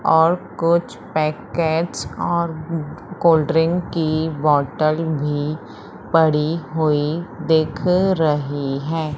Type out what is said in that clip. और कुछ पैकेट्स और कोल्ड ड्रिंक की बॉटल भी पड़ी हुई दिख रही है।